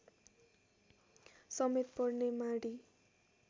समेत पर्ने माडी